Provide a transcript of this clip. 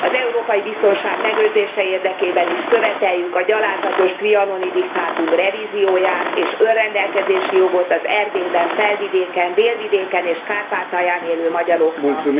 Az európai biztonság megőrzése érdekében is követeljük a gyalázatos trianoni diktátum revízióját, és önrendelkezési jogot az Erdélyben, Felvidéken, Délvidéken és Kárpátalján élő magyaroknak!